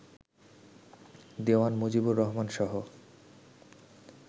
Dewan Mujibur রহমানসহ